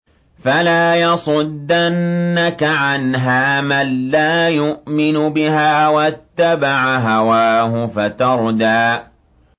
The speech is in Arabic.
فَلَا يَصُدَّنَّكَ عَنْهَا مَن لَّا يُؤْمِنُ بِهَا وَاتَّبَعَ هَوَاهُ فَتَرْدَىٰ